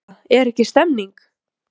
Erla, er ekki stemning?